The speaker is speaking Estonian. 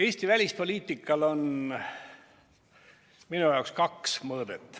Eesti välispoliitikal on minu jaoks kaks mõõdet.